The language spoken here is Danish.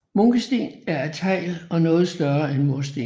Munkesten er af tegl og noget større end mursten